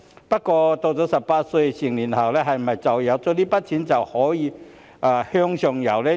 不過，他們到了18歲成年後，是否因有這筆錢而可以向上游呢？